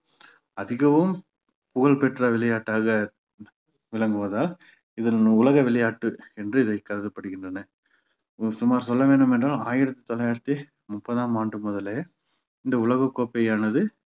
அதிகவும் புகழ் பெற்ற விளையாட்டாக விளங்குவதால் இதன் உலக விளையாட்டு என்று இதைக் கருதப்படுகின்றன இது சும்மா சொல்ல வேண்டும் என்றால் ஆயிரத்தி தொள்ளாயிரத்தி முப்பதாம் ஆண்டு முதலே இந்த உலக கோப்பையானது